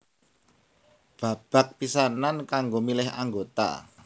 Babak pisanan kanggo milih anggota